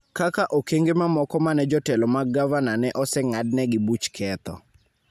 kaka okenge mamoko ma ne jotelo mag gavana ne oseng'adnegi buch ketho.